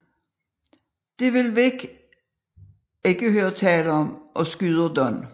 Det vil Vic ikke høre tale om og skyder Don